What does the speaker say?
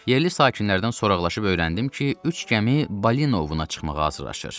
Yerli sakinlərdən soraqlaşıb öyrəndim ki, üç gəmi Balinovuna çıxmağa hazırlaşır.